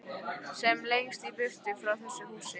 Sem lengst í burtu frá þessu húsi.